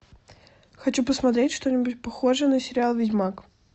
хочу посмотреть что нибудь похожее на сериал ведьмак